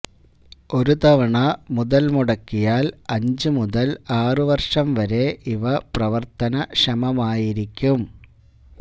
ഒരു തവണ മുതല്മുടക്കിയാല് അഞ്ചു മുതല് ആറു വര്ഷം വരെ ഇവ പ്രവര്ത്തനക്ഷമമായിരിക്കും